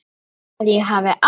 Að ég hafi átt.?